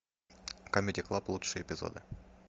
камеди клаб лучшие эпизоды